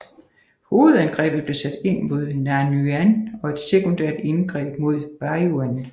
Hovedangrebet blev sat ind mod Nanyuan og et sekundært angreb mod Beiyuan